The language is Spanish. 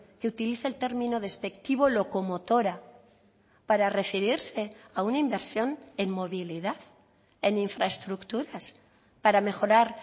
que utilice el término despectivo locomotora para referirse a una inversión en movilidad en infraestructuras para mejorar